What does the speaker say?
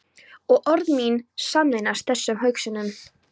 Og orð mín sameinast þessum hugsunum.